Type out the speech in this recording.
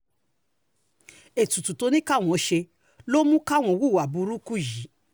ètùtù tó ní káwọn ṣe ọ̀hún ló mú káwọn hùwà burúkú yìí